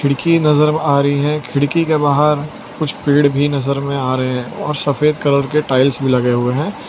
कि नजर आ रही है खिड़की के बाहर कुछ पेड़ भी नजर में आ रहे और सफेद कलर के टाइल्स भी लगे हुए है।